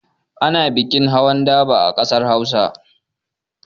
Ana bikin hawan daba a ƙasar Hausa.